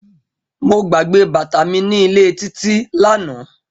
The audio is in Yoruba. Mo gbagbe bata mi ni ile Titi lana.